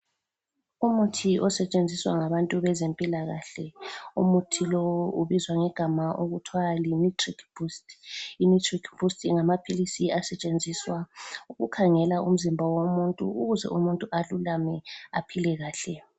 Umuthi osetshenziswa ngabantu bezempilakahle umuthi lowu ubizwa ngegama okuthwa li nitric boost. lnitric boost ngamaphilisi asetshenziswa ukukhangela umzimba womuntu ukuze umuntu alulame aphilekahle.